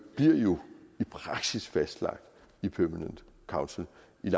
jo i praksis bliver fastlagt i permanent council